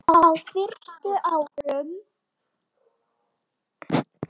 Á fyrstu árum